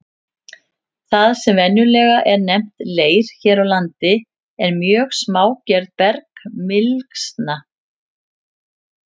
Það sem venjulega er nefnt leir hér á landi er mjög smágerð bergmylsna.